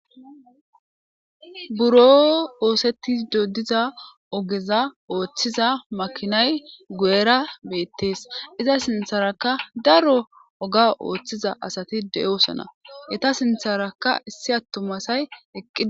Buro oosetti dodiza ogeza ooththiza makinay gu'era beettees iza sintharakka daro oga ooththiza asati de7oosona eta sintharaka issi attumasay eqqia.